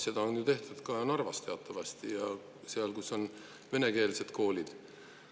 Seda on ju teatavasti tehtud Narvas ja mujal, kus on venekeelsed koolid.